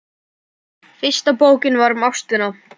Fyrsta bókin er um ástina.